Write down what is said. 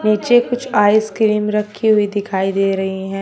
पीछे कुछ आइसक्रीम रखी हुई दिखाई दे रही हैं।